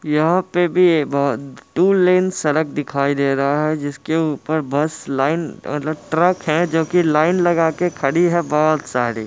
यहा पे भी बहोत -- ट्व लेन सड़क दिखाई दे रहा है जिसके ऊपर बस लाइन वाला ट्रक हैं जो की लाइन लगा के खड़ी है बहोत सारी।